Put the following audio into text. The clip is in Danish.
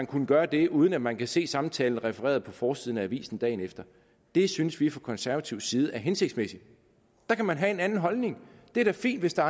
kunne gøre det uden at man kan se samtalen refereret på forsiden af avisen dagen efter det synes vi fra konservativ side er hensigtsmæssigt der kan man have en anden holdning det er da fint hvis der